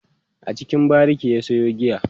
a cikin bariki ya Sayo giya